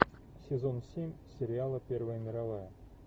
сезон семь сериала первая мировая